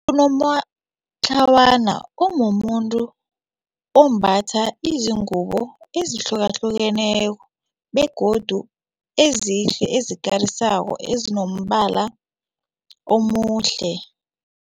Unomatlawana umumuntu ombatha izingubo ezihlukahlukeneko begodu ezihle ezikarisako ezinombala omuhle.